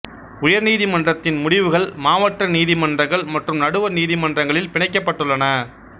உயர்நீதிமன்றத்தின் முடிவுகள் மாவட்ட நீதிமன்றங்கள் மற்றும் நடுவர் நீதிமன்றங்களில் பிணைக்கப்பட்டுள்ளன